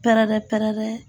Pɛrɛrɛ pɛrɛrɛ.